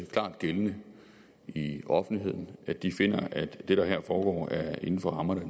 klart gældende i offentligheden at de finder at det der her foregår er inden for rammerne af